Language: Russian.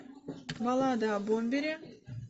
баллада о бомбере